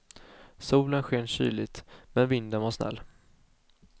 Solen sken kyligt, men vinden var snäll.